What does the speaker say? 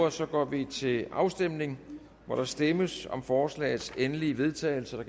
og så går vi til afstemning hvor der stemmes om forslagets endelige vedtagelse